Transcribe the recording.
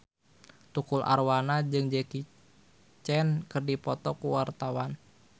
Tukul Arwana jeung Jackie Chan keur dipoto ku wartawan